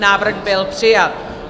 Návrh byl přijat.